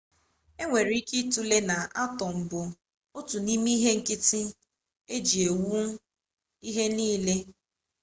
e nwere ike ịtụle na atọm bụ otu n'ime ihe nkịtị eji ewu ihe niile